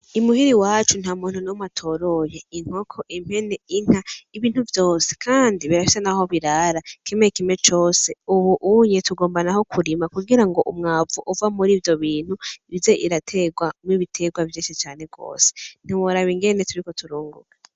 Imuhira iwacu nta muntu n'umwe atoroye, inkoko, impene, Inka, Ibintu vyose Kandi birafise naho birara kimwe kimwe cose .Ubu uye dushaka kurima kugira umwavu uva mur'ivyo bintu uze uraterwamwo ibiterwa vyinshi cane gose ntiworaba Ingene turiko turorora.